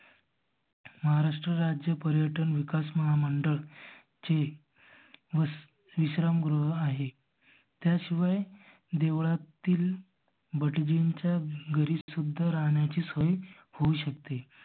महारास्त्र राज्य पर्यटन विकास महामंडळ चे मस्त विश्राम गृह आहे. त्या शिवाय देवळातील भटजींच्या घरी सुद्धा राहण्याची सोय होऊ शकते.